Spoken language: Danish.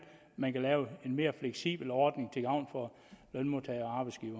man kan lave en mere fleksibel ordning til gavn for lønmodtagere